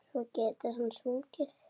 Svo getur hann sungið.